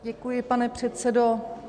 Děkuji, pane předsedo.